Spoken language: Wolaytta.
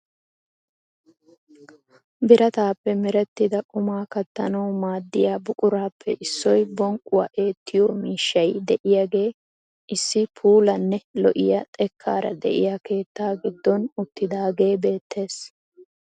Birataappe merettida qumaa kattanawu maaddiya buquraappe issoy bonqquwaa eettiyoo miishshay de'iyaagee issi puulanne lo"iyaa xekkaara de'iyaa keetta giddon uttidaage beettes.